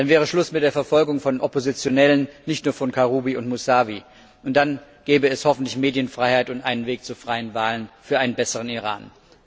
Dann wäre Schluss mit der Verfolgung von Oppositionellen, nicht nur von Karrubi und Mussawi, und dann gäbe es hoffentlich Medienfreiheit und einen Weg zu freien Wahlen für einen besseren Iran.